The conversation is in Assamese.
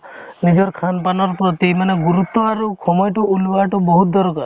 নিজৰ khan pan ৰ প্ৰতি মানে গুৰুত্ব আৰু সময়তো ওলোৱাতো বহুত দৰকাৰ